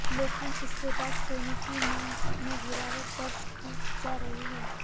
लेकिन इसके बाद सोने की मांग में गिरावट दर्ज की जा रही है